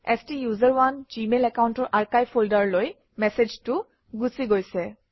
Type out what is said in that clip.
ষ্টাচাৰণে জিমেইল একাউণ্টৰ আৰ্কাইভ ফল্ডাৰলৈ মেচেজটো গুচি গৈছে